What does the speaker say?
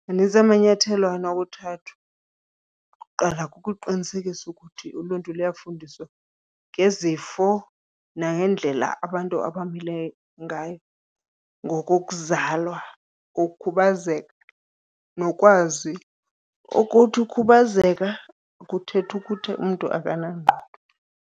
Manintsi amanyathelo anokuthathwa, okuqala kukuqinisekisa ukuthi uluntu luyafundiswa ngezifo nangendlela abantu abamile ngayo ngokokuzalwa, ukukhubazeka nokwazi ukuthi ukhubazeka akuthethi ukuthi umntu akanangqondo.